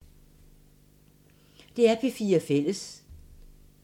DR P4 Fælles